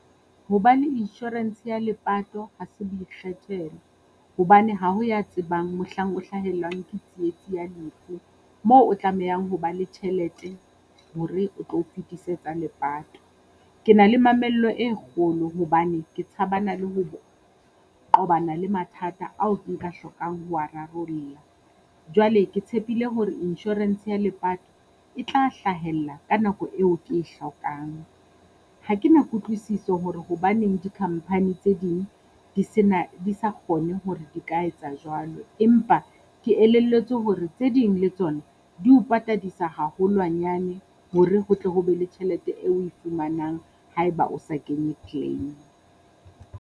Hobane insurance ya lepato ha se boikgethelo, hobane ha ho ya tsebang mohlang o hlahellwang ke tsietsi ya lefu, moo o tlamehang ho ba le tjhelete hore o tlo fetise tsa lepato. Ke na le mamello e kgolo hobane ke tshabana le ho qobana le mathata ao nka hlokang ho wa rarolla. Jwale ke tshepile hore insurance ya lepato e tla hlahella ka nako eo ke e hlokang. Ha kena Kutlwisiso hore hobaneng di-company tse ding di se na sa kgone hore di ka etsa jwalo. Empa ke elelletswe hore tse ding le tsona di o patadisa haholwanyane, hore ho tle ho be le tjhelete eo oe fumanang haeba o sa kenye claim.